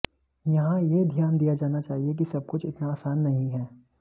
यहां यह ध्यान दिया जाना चाहिए कि सब कुछ इतना आसान नहीं है